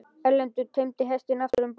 Erlendur teymdi hestinn aftur um borð.